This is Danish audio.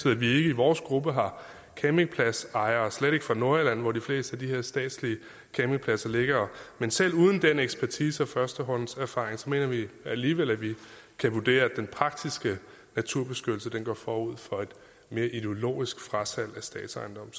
at vi ikke i vores gruppe har campingpladsejere og slet ikke fra nordjylland hvor de fleste af de her statslige campingpladser ligger men selv uden den ekspertise og førstehåndserfaring mener vi alligevel at vi kan vurdere at den praktiske naturbeskyttelse går forud for et mere ideologisk frasalg af statsejendom